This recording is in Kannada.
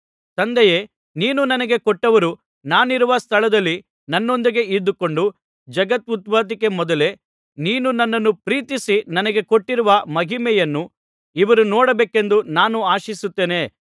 ತಂದೆಯೇ ನೀನು ನನಗೆ ಕೊಟ್ಟವರು ನಾನಿರುವ ಸ್ಥಳದಲ್ಲಿ ನನ್ನೊಂದಿಗೆ ಇದ್ದುಕೊಂಡು ಜಗದುತ್ಪತ್ತಿಗೂ ಮೊದಲೇ ನೀನು ನನ್ನನ್ನು ಪ್ರೀತಿಸಿ ನನಗೆ ಕೊಟ್ಟಿರುವ ಮಹಿಮೆಯನ್ನು ಇವರು ನೋಡಬೇಕೆಂದು ನಾನು ಆಶಿಸುತ್ತೇನೆ